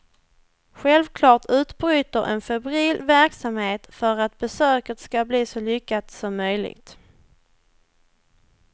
Självklart utbryter en febril verksamhet för att besöket ska bli så lyckat som möjligt.